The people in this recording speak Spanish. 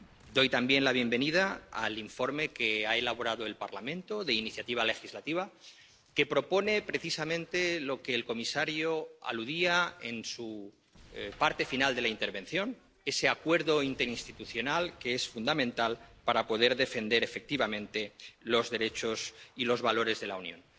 Doy también la bienvenida al informe de iniciativa legislativa que ha elaborado el Parlamento y que propone precisamente aquello a lo que el comisario aludía en su parte final de la intervención ese acuerdo interinstitucional que es fundamental para poder defender efectivamente los derechos y los valores de la Unión.